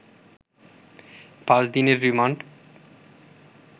পাঁচ দিনের রিমান্ড